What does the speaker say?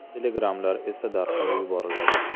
Telegrammalar esa darhol yuboriladi.